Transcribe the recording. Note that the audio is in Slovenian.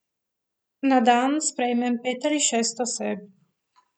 Na dan sprejmem pet ali šest oseb.